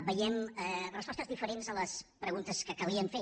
veiem respostes diferents a les preguntes que calia fer